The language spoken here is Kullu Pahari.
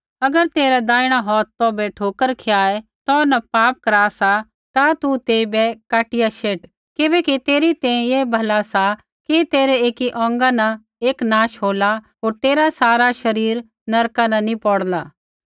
अगर तेरा दैहिणा हौथ तौभै ठोकर खियाए तौ न पाप करा सा ता तू तेइबै काटिया शेट किबैकि तेरी तैंईंयैं ऐ भला सा कि तेरै एकी औंगा न एक नाश होला होर तेरा सारा शरीर नरका नी पौड़ला